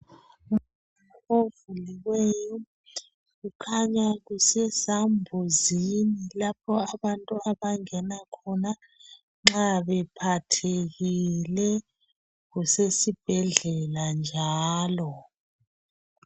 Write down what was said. Umnyango ovuliweyo Kukhanya kusesambuzini lapho abantu abangena khona Nxa bephathekile kusesibhedlela Njalo